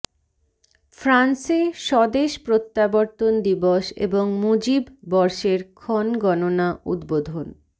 ফ্রান্সে স্বদেশ প্রত্যাবর্তন দিবস এবং মুজিব বর্ষের ক্ষণগণনা উদ্বোধন